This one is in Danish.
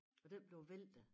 Og den blev væltet